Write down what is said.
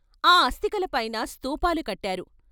ఆ అస్తికలపైన స్థూపాలు కట్టారు.